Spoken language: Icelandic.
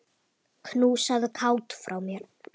Knúsaðu Kát frá mér.